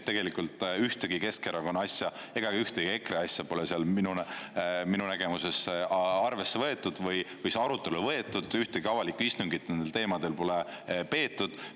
Tegelikult ühtegi Keskerakonna asja ega ka ühtegi EKRE äsja pole seal minu nägemuses arvesse võetud või see arutellu võetud, ühtegi avalikku istungit nendel teemadel pole peetud.